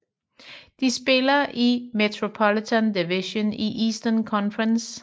De spiller i Metropolitan Division i Eastern Conference